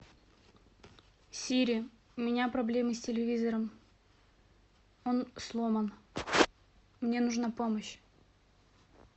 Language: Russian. сири у меня проблемы с телевизором он сломан мне нужна помощь